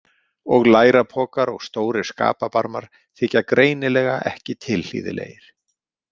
Og lærapokar og stórir skapabarmar þykja greinilega ekki tilhlýðilegir.